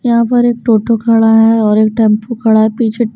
यहां पर एक टोटो खड़ा है और एक टेंपो खड़ा है पीछे--